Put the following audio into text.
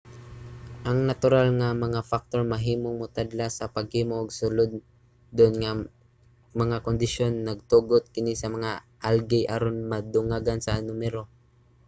ang natural nga mga factor mahimong motadlas sa paghimo og sulondon nga mga kondisyon nagtugot kini sa mga algae aron madungagan sa numero